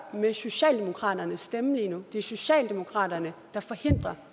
med socialdemokratiets stemmer lige nu det er socialdemokratiet der forhindrer